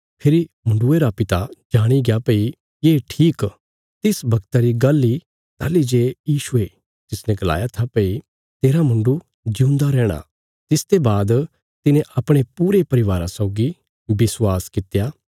फेरी मुण्डुये रा पिता जाणिग्या भई ये ठीक तिस बगता री गल्ल इ ताहली जे यीशुये तिसने गलाया था भई तेरा मुण्डु जिऊंदा रैहणा तिसते बाद तिने अपणे पूरे परिवारा सौगी विश्वास कित्या